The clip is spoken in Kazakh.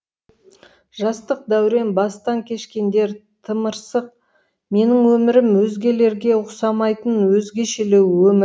жастық дәурен бастан кешкендер тымырсық менің өмірім өзгелерге ұқсамайтын өзгешелеу өмір